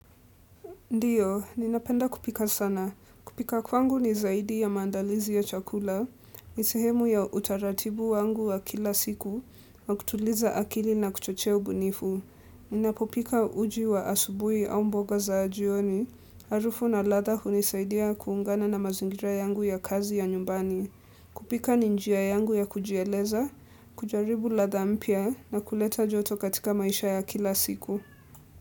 Ndiyo, ninapenda kupika sana. Kupika kwangu ni zaidi ya maandalizi ya chakula, ni sehemu ya utaratibu wangu wa kila siku, wa kutuliza akili na kuchochea ubunifu. Ninapopika uji wa asubui au mboga za jioni, harufu na ladha hunisaidia kuungana na mazingira yangu ya kazi ya nyumbani. Kupika ni njia yangu ya kujieleza, kujaribu latha mpya na kuleta joto katika maisha ya kila siku.